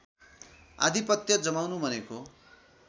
आधिपत्य जमाउनु भनेको